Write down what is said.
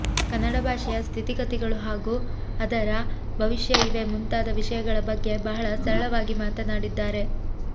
ಕನ್ನಡ ಭಾಷೆಯ ಸ್ಥಿತಿ ಗತಿಗಳು ಹಾಗು ಅದರ ಭವಿಷ್ಯ ಇವೆ ಮುಂತಾದ ವಿಷಯಗಳ ಬಗ್ಗೆ ಬಹಳ ಸರಳವಾಗಿ ಮಾತನಾಡಿದ್ದಾರೆ